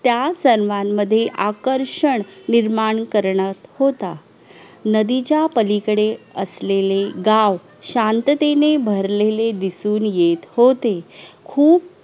त्या सन्मान मध्ये आकर्षण निर्माण करणं होता नदीच्या पलीकडे असलेलं गाव शांततेनं भरलेले दिसून येत होते. खूप